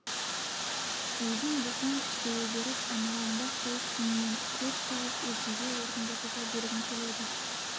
өзің босаң кішірейе беріп айналаңда қуыс дүниен көп тауып өзгеге орын босата бергің келеді